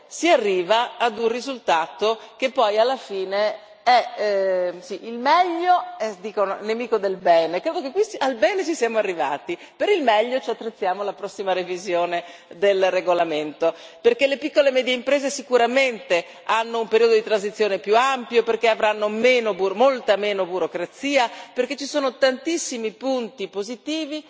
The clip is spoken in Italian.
si arriva a un risultato che poi alla fine è il migliore. Dicono che il meglio sia nemico del bene al bene ci siamo arrivati, per il meglio ci attrezziamo alla prossima revisione del regolamento, perché le piccole e medie imprese sicuramente hanno un periodo di transizione più ampio, perché avranno molta meno burocrazia, perché ci sono tantissimi punti positivi,